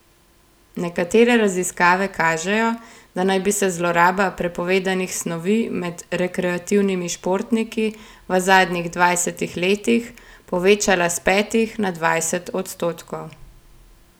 Nekatere raziskave kažejo, da naj bi se zloraba prepovedanih snovi med rekreativnimi športniki v zadnjih dvajsetih letih povečala s petih na dvajset odstotkov.